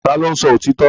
Ta ló ń sọ òtítọ́?